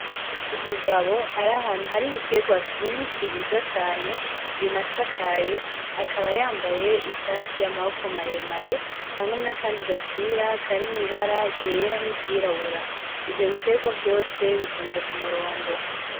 Umugabo ari ahantu hari ibiterwa vyinshi vyiza cane binasakaye, akaba yambaye ishati y'amaboko maremare hamwe n'akandi gapira karimwo ibara ryera n'iryirabura. Ivyo biterwa vyose bitonze ku murongo.